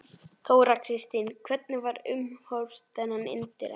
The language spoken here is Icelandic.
Þóra Kristín: Hvernig var umhorfs þarna innandyra?